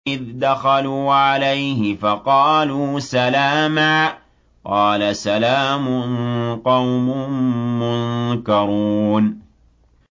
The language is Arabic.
إِذْ دَخَلُوا عَلَيْهِ فَقَالُوا سَلَامًا ۖ قَالَ سَلَامٌ قَوْمٌ مُّنكَرُونَ